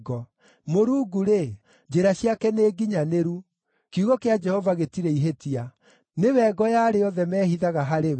“Mũrungu-rĩ, njĩra ciake nĩnginyanĩru; kiugo kĩa Jehova gĩtirĩ ihĩtia. Nĩwe ngo ya arĩa othe mehithaga harĩ we.